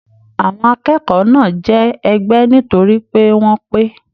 Àwọn akẹ́kọ̀ọ́ náà jẹ ẹgba nitori pe wọn pé.